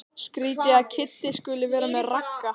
Skrýtið að Kiddi skuli vera með Ragga.